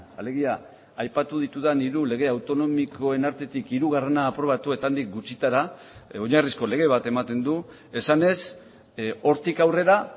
alegia aipatu ditudan hiru lege autonomikoen artetik hirugarrena aprobatu eta handik gutxitara oinarrizko lege bat ematen du esanez hortik aurrera